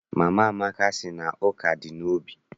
Mama Amaka sị na ụka dị n'obi.